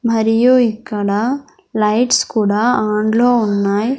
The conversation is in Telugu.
మరియు ఇక్కడ లైట్స్ కుడా ఆన్లో ఉన్నాయి.